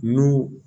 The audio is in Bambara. N'u